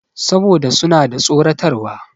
Saboda suna da tsoratarwa.